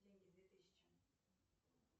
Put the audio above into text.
деньги две тысячи